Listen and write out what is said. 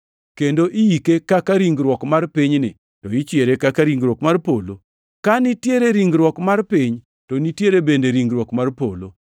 kendo iyike kaka ringruok mar pinyni, to ichiere kaka ringruok mar polo. Ka nitiere ringruok mar piny, to nitiere bende ringruok mar polo.